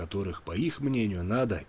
которых по их мнению надо